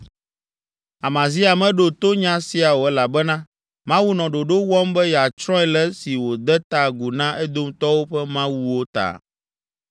Amazia meɖo to nya sia o elabena Mawu nɔ ɖoɖo wɔm be yeatsrɔ̃e le esi wòde ta agu na Edomtɔwo ƒe mawuwo ta.